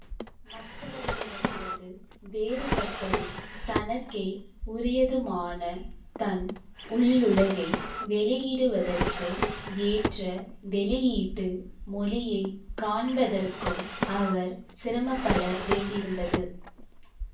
மற்றவர்களிடமிருந்து வேறுபட்டதும் தனக்கே உரியதுமான தன் உள்ளுலகை வெளியிடுவதற்கு ஏற்ற வெளியீட்டு மொழியை காண்பதற்கும் அவர் சிரமப்பட வேண்டியிருந்தது